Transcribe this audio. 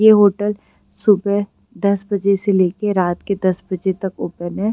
ये होटल सुबह दस बजे से लेके रात दस तक ओपन है।